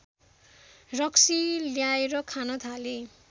रक्सी ल्याएर खान थाले